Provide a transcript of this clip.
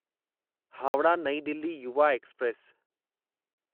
हावड़ा नईं दिल्ली युवा एक्सप्रेस